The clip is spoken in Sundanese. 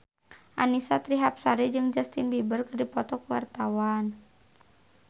Annisa Trihapsari jeung Justin Beiber keur dipoto ku wartawan